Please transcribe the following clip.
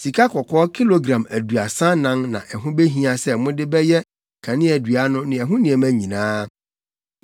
Sikakɔkɔɔ kilogram aduasa anan na ɛho behia sɛ mode bɛyɛ kaneadua no ne ɛho nneɛma nyinaa.